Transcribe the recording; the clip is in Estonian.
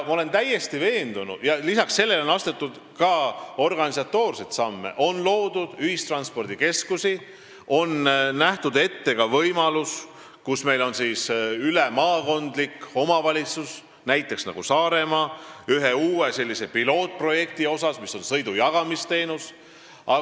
On astutud ka organisatoorseid samme, on loodud ühistranspordikeskusi ning on ette nähtud, et ülemaakondliku omavalitsuse territooriumil, näiteks Saaremaal katsetatakse uue pilootprojekti raames sõidujagamisteenust.